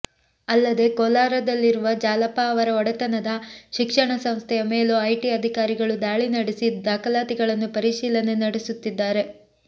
ಅಲ್ಲದೇ ಕೋಲಾರದಲ್ಲಿರುವ ಜಾಲಪ್ಪ ಅವರ ಒಡೆತನದ ಶಿಕ್ಷಣ ಸಂಸ್ಥೆಯ ಮೇಲೂ ಐಟಿ ಅಧಿಕಾರಿಗಳು ದಾಳಿ ನಡೆಸಿ ದಾಖಲಾತಿಗಳನ್ನು ಪರಿಶೀಲನೆ ನಡೆಸುತ್ತಿದ್ದಾರೆ